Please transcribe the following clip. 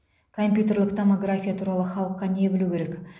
компьютерлік томография туралы халыққа не білу керек